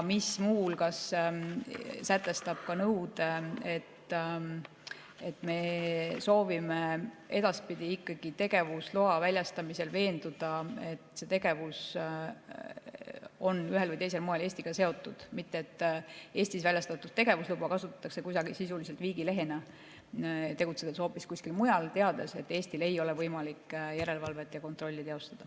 Muu hulgas sätestab see nõude, et me soovime edaspidi ikkagi tegevusloa väljastamisel veenduda, et see tegevus on ühel või teisel moel Eestiga seotud, mitte et Eestis väljastatud tegevusluba kasutatakse sisuliselt viigilehena, tegutsedes hoopis kuskil mujal ja teades, et Eestil ei ole võimalik järelevalvet ja kontrolli teostada.